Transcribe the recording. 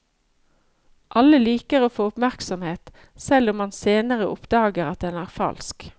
Alle liker å få oppmerksomhet, selv om man senere oppdager at den er falsk.